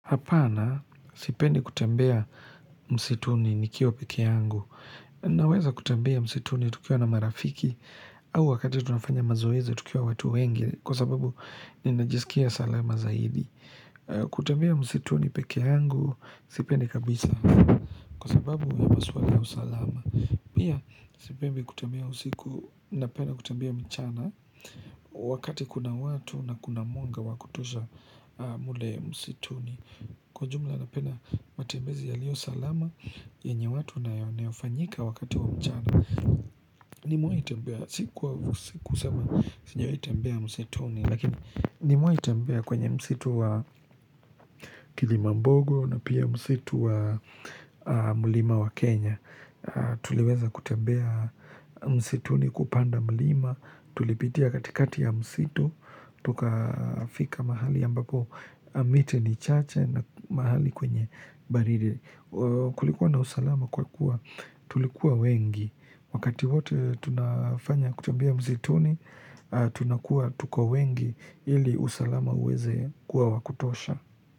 Hapana, sipendi kutembea msituni nikiwa pekee yangu. Naweza kutembea msituni tukiwa na marafiki, au wakati tunafanya mazoezi tukiwa watu wengi, kwa sababu ninajiskia salama zaidi. Kutambea msituni peke yangu, sipendi kabisa. Kwa sababu, ya maswala ya usalama. Pia, sipendi kutembea usiku, na penda kutembea mchana, wakati kuna watu na kuna mwanga wa kutosha mle msituni. Kwa ujumla na penda matembezi yalio salama yenye watu na yanayofanyika wakati wa mchana Nimewahi tembea Si kwa msituni Lakini nimewahi tembea kwenye msitu wa kilimambogo na pia msitu wa mlima wa Kenya Tuliweza kutembea msituni kupanda mlima Tulipitia katikati ya msitu Tuka fika mahali ambapo miti ni chache na mahali kwenye baridi Kulikuwa na usalama kwa kuwa tulikuwa wengi Wakati wote tunafanya kutembea msituni Tunakuwa tuko wengi ili usalama uweze kuwa wakutosha.